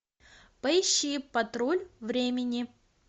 поищи патруль времени